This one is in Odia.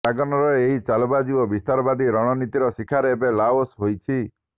ଡ୍ରାଗନର ଏହି ଚାଲବାଜି ଓ ବିସ୍ତାରବାଦୀ ରଣନୀତିର ଶିକାର ଏବେ ଲାଓସ ହୋଇଛି